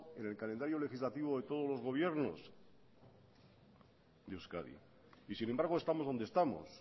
en el calendario legislativo de todos los gobiernos de euskadi y sin embargo estamos donde estamos